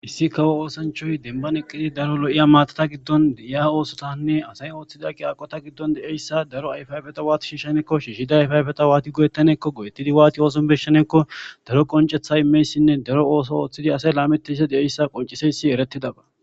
Issi kawo oosanchoy denban eqqidi daro lo'iya maatata giddon de'iya oosotanne asay ooththida qi aqota giddon de'eyssa daro ayfayfeta waati shiishshanekko shiihshida ayfayfeta waati go'ettaneekko go'ettidi waati ooson beshanekko daro qoncetha imeyssinne daro ooso ooththidi asay laamettiysa de'eyssa qonciseysi erettidaba